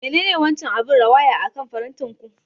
Menene wancan abin rawaya akan farantin ku?